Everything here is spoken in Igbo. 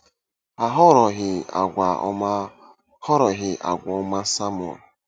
A hụrụghị àgwà ọma hụrụghị àgwà ọma Samuel.